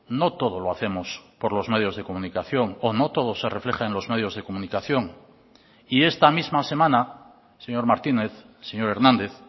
no todo lo hacemos por los medios de comunicación o no todo se refleja en los medios de comunicación y esta misma semana señor martínez señor hernández